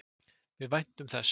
Við væntum þess.